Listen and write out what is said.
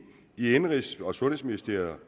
i indenrigs og sundhedsminister